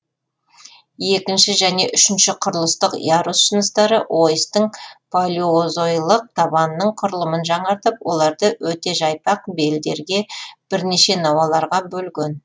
екінші және үшінші құрылыстық ярус жыныстары ойыстың палеозойлық табанының құрылымын жаңартып оларды өте жайпақ белдерге бірнеше науаларға бөлген